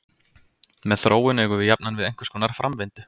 Með þróun eigum við jafnan við einhverskonar framvindu.